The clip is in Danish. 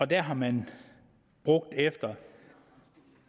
der har man efter